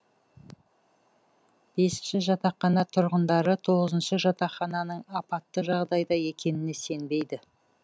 бесінші жатақхана тұрғындары тоғызыншы жатақхананың апатты жағдайда екеніне сенбейді